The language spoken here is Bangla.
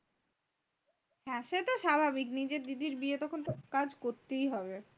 হ্যাঁ সে তো স্বাভাবিক নিজের দিদির বিয়ে তখন তো কাজ করতেই হবে।